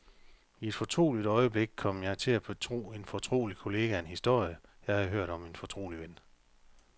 I et fortroligt øjeblik kom jeg til at betro en fortrolig kollega en historie, jeg havde hørt om en fortrolig ven.